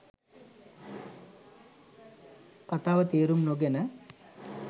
කතාව තේරුම් නොගෙන